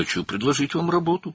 Sizə iş təklif etmək istəyirəm.